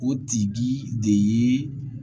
O tigi de ye